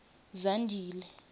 zandile